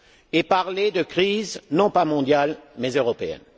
et parler de crise, non pas mondiale, mais européenne.